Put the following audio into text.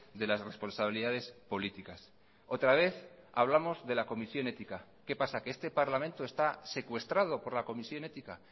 de las responsabilidades políticas otra vez hablamos de la comisión ética qué pasa que este parlamento está secuestrado por la comisión ética